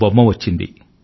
బొమ్మ వచ్చింది